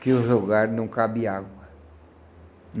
que os lugares não cabem água.